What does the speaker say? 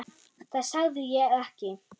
Það sagði ég ekki